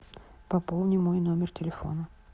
пополни мой номер телефона